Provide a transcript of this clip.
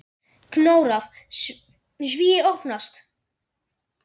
Konráð: Svíi opnast.